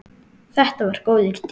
Þetta var góður tími.